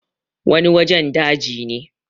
wani wajen daji ne